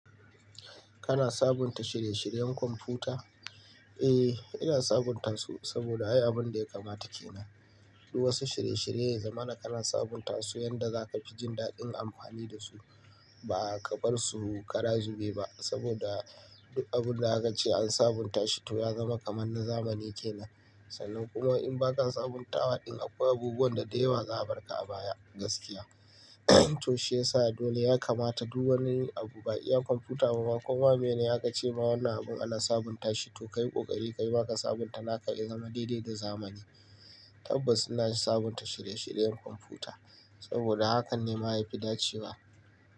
Kana sabunta shirye-shiryen kwamfuta? Eh, ina sabunta su saboda ai abun da ya kamata kenan. Duk wasu shirye-shirye ya zama kana sabunta su yanda za ka fi jin daɗin amfani da su ba ka bar su kara zube ba saboda duk abun da aka ce an sabunta shi to ya zama kamar na zamani kenan. Sannan kuma in ba ka sabunta waɗin akwai abubuwan da da yawa za a barka a baya gaskiya. To shiyasa dole ya kamata duk wani abu ba iya kwamfuta ba kuma mene aka ce ma wannan abun ana sabunta shi to ka yi ƙoƙari ka yi waƙar sabunta naka ya zama daidai da zamani. Tabbas ina sabunta shirye-shiryen kwamfuta saboda hakan ne ma yafi dacewa.